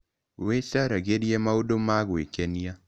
Wĩcaragirie maũndũ ma gwĩkenia